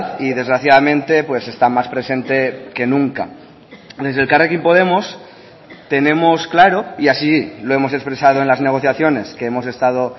y desgraciadamente está más presente que nunca desde elkarrekin podemos tenemos claro y así lo hemos expresado en las negociaciones que hemos estado